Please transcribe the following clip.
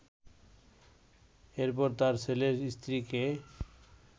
এরপর তার ছেলের স্ত্রীকে